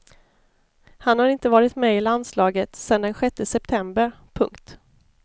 Han har inte varit med i landslaget sedan den sjätte september. punkt